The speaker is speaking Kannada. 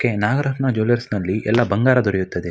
ಕೆ ನಾಗರತ್ನ ಜ್ಯೂವೆಲ್ಲರ್ಸ್ ನಲ್ಲಿ ಎಲ್ಲ ಬಂಗಾರ ದೊರೆಯುತ್ತದೆ.